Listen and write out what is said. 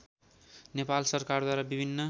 नेपाल सरकारद्वारा विभिन्न